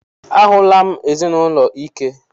A hụla m ezinụlọ ike.